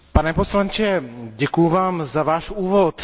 Pane poslanče, děkuju vám za váš úvod.